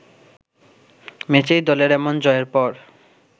ম্যাচেই দলের এমন জয়ের পর